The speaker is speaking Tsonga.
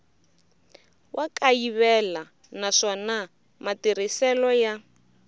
wa kayivela naswona matirhiselo ya